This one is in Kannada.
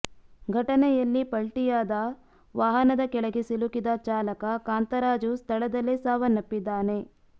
ಘಟನೆಯಲ್ಲಿ ಪಲ್ಟಿಯಾದ ವಾಹನದ ಕೆಳಗೆ ಸಿಲುಕಿದ ಚಾಲಕ ಕಾಂತರಾಜು ಸ್ಥಳದಲ್ಲೇ ಸಾವನ್ನಪ್ಪಿದ್ದಾನೆ